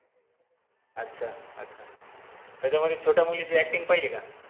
अच्छा अच्छा, त्याच्यामध्ये छोट्या मुलीची acting पहिली का?